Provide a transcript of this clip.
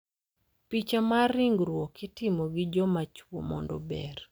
Picha mar ringruok itimo gi joma chwo mondo ober,